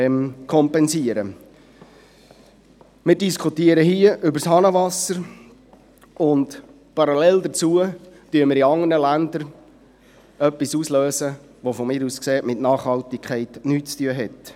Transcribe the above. Wir diskutieren hier über das Hahnenwasser, und parallel dazu lösen wir in anderen Ländern etwas aus, das meines Erachtens mit Nachhaltigkeit nichts zu tun hat.